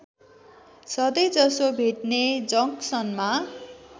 सधैँजसो भेट्ने जक्सनमा